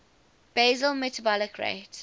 basal metabolic rate